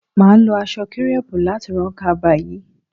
Mà á lo aṣọ kírẹ́pù láti ran kaba yìí